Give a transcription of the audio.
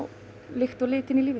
lykt og lit inn í lífið